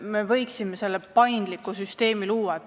Me võiksime selle paindliku süsteemi luua.